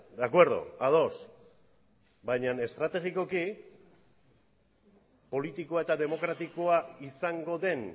de acuerdo ados baina estrategikoki politikoa eta demokratikoa izango den